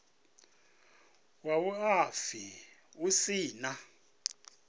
wa vhuaifa hu si na